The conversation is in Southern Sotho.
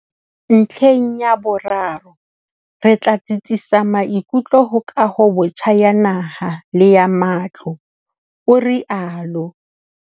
Ntlheng ya boraro, re tla tsitsisa maikutlo ho kahobotjha ya naha le ya matlo, o rialo.